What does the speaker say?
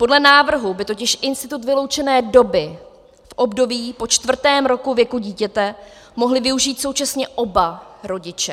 Podle návrhu by totiž institut vyloučené doby v období po čtvrtém roce věku dítěte mohli využít současně oba rodiče.